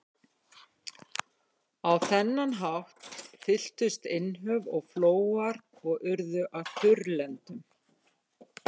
Á þennan hátt fylltust innhöf og flóar og urðu að þurrlendum.